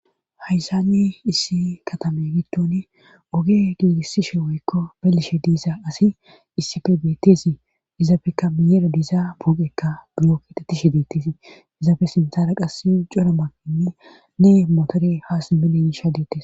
hayssani issi katame gitton oge giigissishe woykko belishe diisa asi issife beettesi izaabeka miyera diiza puuqekka giyokitetishe deettesi izaafe sinthara qass cora makinni ne motore haa simelensha deettes